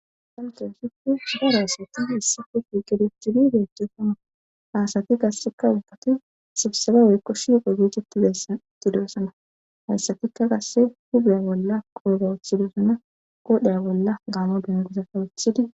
Dantohofikku supa raasatidi issi kofi qidef chilideehchesama haasati gasxeka ubbatu sibseba woykko shiiqo giigetti deessa itidoesana hayssatikka qasse hubeya bolla qooba wuthidosana qoodhaya bolla gaamo bingiza kawucthidi